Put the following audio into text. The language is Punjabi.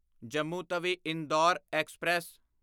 ਜੰਮੂ ਤਵੀ ਇੰਦੌਰ ਐਕਸਪ੍ਰੈਸ